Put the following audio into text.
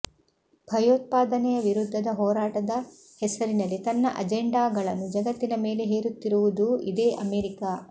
ಭಯೋತ್ಪಾದನೆಯ ವಿರುದ್ಧದ ಹೋರಾಟದ ಹೆಸರಿನಲ್ಲಿ ತನ್ನ ಅಜೆಂಡಾಗಳನ್ನು ಜಗತ್ತಿನ ಮೇಲೆ ಹೇರುತ್ತಿರುವುದೂ ಇದೇ ಅಮೆರಿಕ